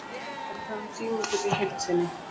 Ég er að tala um tímabilið í heild sinni.